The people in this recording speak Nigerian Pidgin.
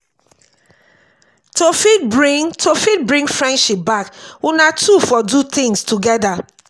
to fit bring to fit bring friendship back una two for do things together